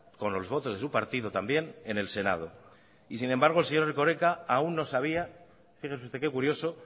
con los votos de su partido también en el senado y sin embargo el señor erkoreka aún no sabía fíjese usted que curioso